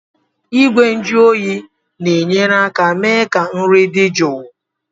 Igwe nju oyi na-enyere aka mee ka nri dị jụụ.